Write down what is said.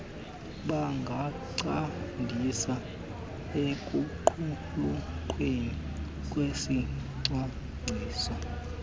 bangancedisa ekuqulunqweni kwesicwangciso